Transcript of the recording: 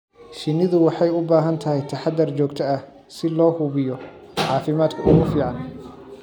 Shinnidu waxay u baahan tahay taxadar joogto ah si loo hubiyo caafimaadka ugu fiican.